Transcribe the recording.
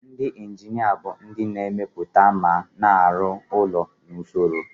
Ndị injinia bụ ndị na-emepụta ma na-arụ ụlọ na usoro.